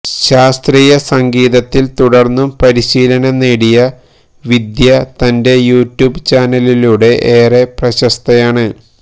ശാസ്ത്രീയ സംഗീത ത്തില് തുടര്ന്നും പരിശീലനം നേടിയ വിദ്യ തന്റെ യൂട്യൂബ് ചാനലിലൂടെ ഏറെ പ്രശസ്തയാണ്